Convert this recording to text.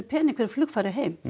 fyrir flugfari heim